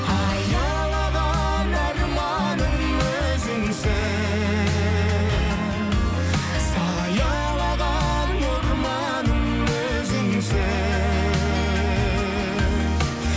аялаған арманым өзіңсің саялаған орманым өзіңсің